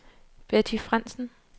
Betty Frandsen